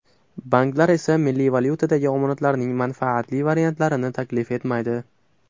Banklar esa milliy valyutadagi omonatlarning manfaatli variantlarini taklif etmaydi.